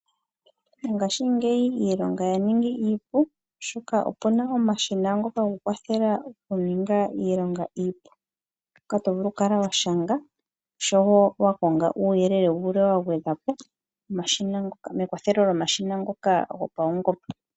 Ngashingeyi iilonga yaningi iipu oshoka opuna omashina ngoka gokukwathela oku ninga iilonga iipu. Ngoka tovulu oku kala washanga osho woo wa konge uuyelele wulwe wa gwedhwa po, mekwathelo lyomashina ngoka gopawungomba.